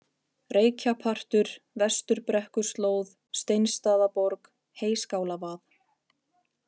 Reykjapartur, Vesturbrekkuslóð, Steinsstaðaborg, Heyskálavað